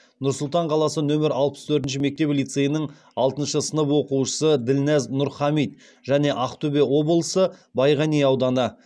нұр сұлтан қаласы нөмір алпыс төртінші мектеп лицейінің алтыншы сынып оқушысы ділназ нұрхамит және ақтөбе облысы байғанин ауданы